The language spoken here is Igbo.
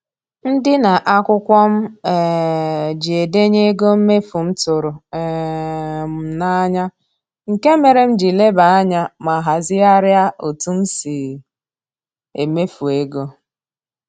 Ndịna akwụkwọ m um ji edenye ego mmefu m tụrụ um m n'anya, nke mere m ji lebe anya ma hazigharịa otu m si emefu ego